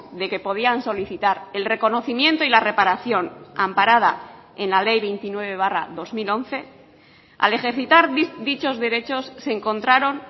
de que podían solicitar el reconocimiento y la reparación amparada en la ley veintinueve barra dos mil once al ejercitar dichos derechos se encontraron